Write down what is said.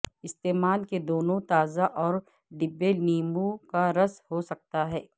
استعمال کے دونوں تازہ اور ڈبے لیموں کا رس ہو سکتا ہے